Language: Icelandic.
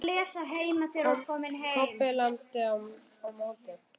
Kobbi lamdi á móti.